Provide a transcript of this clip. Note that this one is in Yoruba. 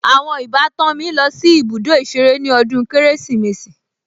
Àwọn ìbátan mi lọ sí ibùdó ìṣeré ní ọdún Kérésìmesì